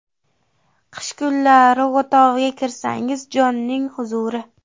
Qish kunlari o‘tovga kirsangiz jonning huzuri.